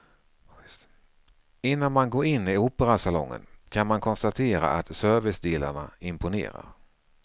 Innan man går in i operasalongen kan man konstatera att servicedelarna imponerar.